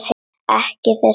Ekki þessa tóna!